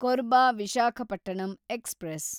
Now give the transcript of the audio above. Korba Visakhapatnam express